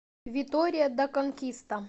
витория да конкиста